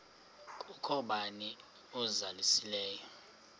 kukho bani uzalusileyo